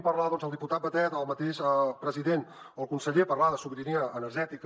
i fa gràcia quan sentim el diputat batet el mateix president o el conseller par lar de sobirania energètica